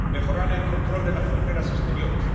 mejorar el control de las fronteras exteriores